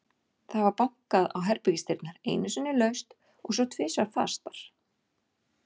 Það var bankað á herbergisdyrnar, einu sinni laust og svo tvisvar fastar.